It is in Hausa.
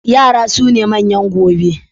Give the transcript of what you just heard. Yara suna manyan gobe